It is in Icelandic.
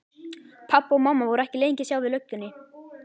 Pabbi og mamma voru ekki lengi að sjá við löggunni.